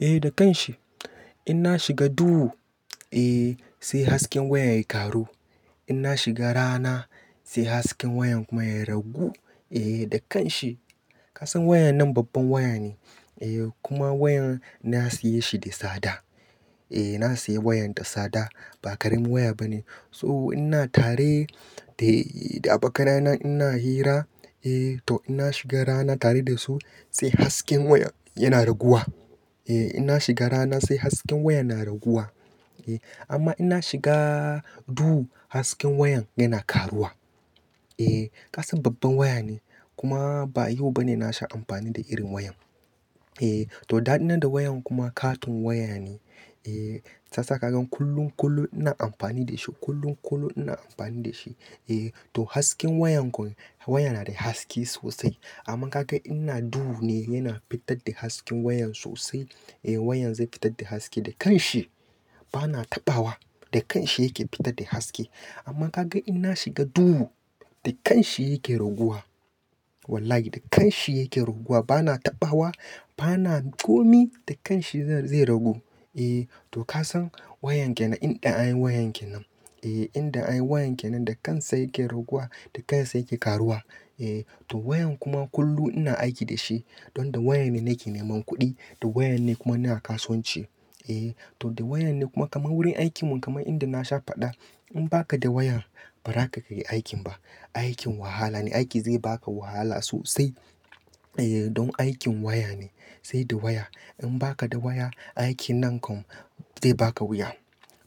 Eh da kanshi, in na shiga duhu eh sai hasken wayan ya karu. In na shiga rana sai hasken wayan kuma ya ragu eh da kanshi. Ka san wayan nan babban waya ne eh kuma wayan na siya shi da sada. Eh na siya wayan da sada ba ƙaramin waya bane. So ina tare da, da abokanai na ina hira eh to ina shiga rana tare da su sai hasken wayan yana raguwa. Eh ina shiga rana sai hasken wayan na raguwa. Eh amma ina shiga duhu hasken wayan yana karuwa. Eh ka san babban waya ne kuma ba yau bane na sha amfani da irin wayan. Eh to daɗina da wayan kuma katon waya ne eh shi ya sa ka ga kullum, kullum ina amfani da shi, kullum, kullum ina amfani da shi. Eh to hasken wayan kuma wayan na da haske sosai amma ka ga in ina duhu ne yana fitar da hasken wayan sosai. Eh wayan zai fitar da haske da kanshi bana taɓawa, da kanshi yake fitar da haske. Amma ka ga ina shiga duhu da kanshi yake raguwa. Wallahi da kanshi yake raguwa bana taɓawa, bana komai da kanshi zai ragu. Eh to ka san wayan ke nan inda anyi wayan ke nan. Eh inda anyi wayan ke nan da kansa yake raguwa da kansa yake karuwa. Eh to wayan kuma kullum ina aiki da shi. Don da wayan ne nake neman kuɗi, da waya ne kuma ina kasuwanci. Eh to da waya ne kuma kamar wurin aikin mu kamar inda na sha faɗa, in baka da wayan ba ra ka iya aikin ba. Aikin wahala ne, aiki zai baka wahala sosai. Eh don aikin waya ne, sai da waya. In baka da waya, aikin nan kam zai baka wuya,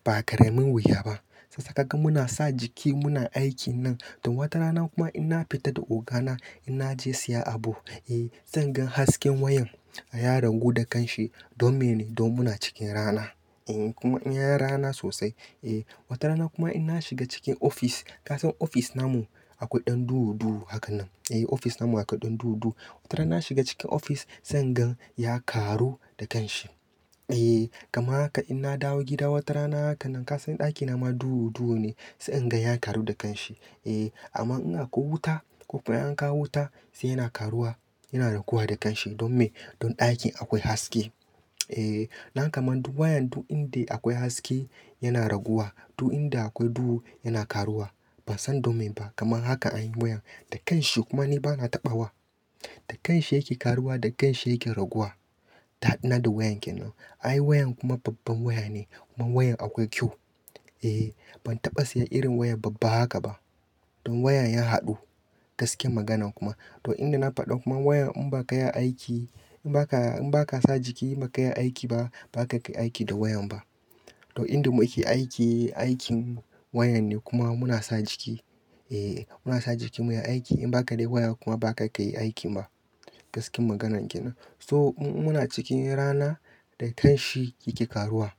ba ƙaramin wuya ba. Shi yasa kaga muna sa jiki muna aikin nan. To wata rana kuma ina fita da ogana ina je siya abu eh zan gan hasken wayan ya ragu da kanshi. Don mene? Don muna cikin rana. Eh kuma yan rana sosai. Eh wata rana kuma ina shiga cikin ofis, ka san ofis na mu akwai ɗan duhu duhu hakan nan. Eh ofis na mu akwai ɗan duhu duhu. Wata rana na shiga cikin ofis zan gan ya karu da kanshi. Eh kama haka in na dawo gida wata rana hakan nan, ka san ɗaki na ma duhu duhu ne sai in ga ya karu da kanshi. Eh amma in akwai wuta ko kuma in an kawo wuta sai ya na karuwa, ya na raguwa da kanshi. Don me? Don ɗakin akwai haske. Eh na ga kamar duk wayan duk inda akwai haske yana raguwa. Duk inda akwai duhu yana karuwa. Ban san don me ba kamar haka anyi wayan. Da kanshi kuma ni bana taɓawa. Da kanshi yake karuwa da kanshi yake raguwa. Daɗina da wayan ke nan. Anyi wayan kuma babban waya ne kuma wayan akwai kyau. Eh ban taɓa siya irin wayar babba haka ba. Don wayan ya haɗu. Gaskiyar magana kuma to inda na faɗa kuma wayan in baka ya aiki in baka, in baka sa jiki in ba ka iya aiki ba, ba za ka iya aiki da wayan ba. To inda muke aiki, aikin waya ne kuma muna sa jiki. Eh muna sa jiki muyi aiki in baka da waya kuma ba za ka iya aikin ba. Gaskiyar maganar kenan. So muna cikin rana, da kanshi yake karuwa.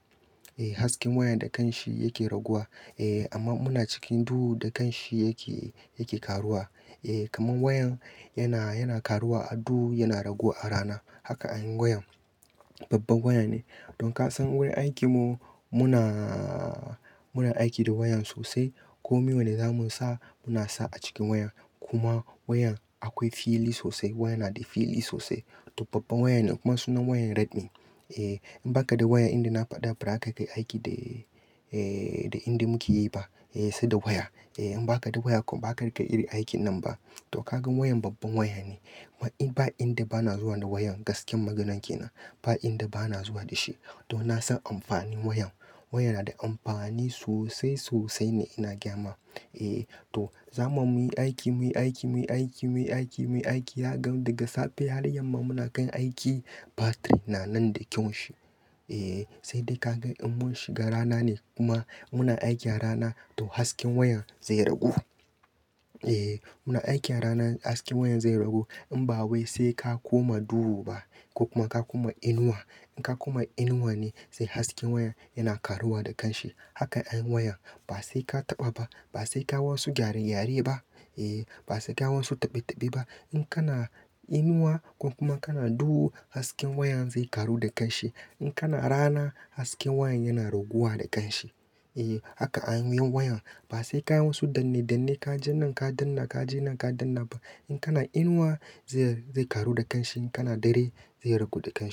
Eh hasken wayan da kanshi yake raguwa. Eh amma muna cikin duhu da kanshi yake, yake karuwa. Eh kamar wayan yana, yana karuwa a duhu yana ragu a rana. Haka anyi wayan. Babban waya ne. Don ka san wurin aikin mu muna, muna aiki da wayan sosai. Kome wanda zamu sa muna sa a cikin wayan. Kuma wayan akwai fili sosai. Wayan na da fili sosai. To babban wayan ne kuma sunan wayan Redmi. Eh in baka da waya inda na faɗa ba ra ka kai aiki da, eh da inda muke yi ba. Eh sai da waya. Eh in baka da waya kuma ba za iya riƙa iri aikin nan ba. To ka gan wayan babban waya ne. Ba inda bana zuwa da wayan gaskiyar maganar ke nan. Ba inda bana zuwa da shi. Don na san amfanin wayan. Wayan na da amfani sosai, sosai ne ina gyama. Eh to zamu iya muyi aiki, muyi aiki, muyi aiki, muyi aiki, muyi aiki za ka ga daga safe har yamma muna kan aiki. Battery na nan da kyau shi. Eh sai dai ka gan in mun shiga rana ne kuma muna aiki a rana to hasken wayan zai ragu. Eh muna aiki a rana hasken wayan zai ragu. In ba wai sai ka koma duhu ba ko kuma ka koma inuwa. In ka koma inuwa ne sai hasken wayan yana karuwa da kanshi. Haka anyi wayan. Ba sai ka taɓa ba, ba sai ka yi wasu gyare gyare ba. Eh ba sai ka yi wasu taɓe taɓe ba. In kana inuwa ko kuma kana duhu hasken wayan zai karu da kanshi. In kana rana hasken wayan yana raguwa da kanshi. Eh haka anyi wayan. Ba sai ka yi wasu danne danne ka je nan ka danna, ka je nan ka danna ba. In kana inuwa zai, zai karu da kanshi in kana dare zai ragu da kanshi.